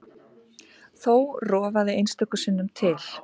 Þó rofaði einstöku sinnum til.